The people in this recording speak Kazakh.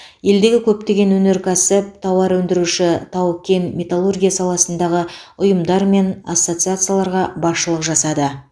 елдегі көптеген өнеркәсіп тауарөндіруші тау кен металлургия саласындағы ұйымдар мен ассоциацияларға басшылық жасады